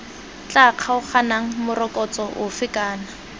tla kgaoganang morokotso ofe kana